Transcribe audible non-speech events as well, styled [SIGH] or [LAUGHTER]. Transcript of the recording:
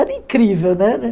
Era incrível [UNINTELLIGIBLE]